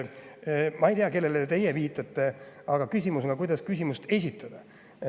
Ma ei tea, kellele teie viitate, aga on, kuidas küsimust esitada.